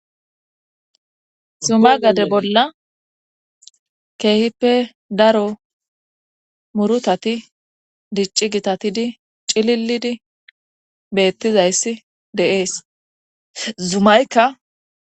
Zuma gade bolla keehippe daro murutati dicci gitatidi cililidi beettizayssi deees zumaykka